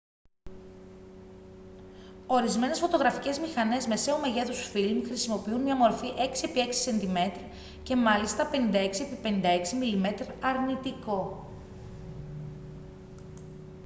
ορισμένες φωτογραφικές μηχανές μεσαίου μεγέθους φιλμ χρησιμοποιούν μια μορφή 6 επί 6 cm και μάλιστα 56 επί 56 mm αρνητικό